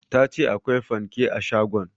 Ta ce akwai fanke a shagon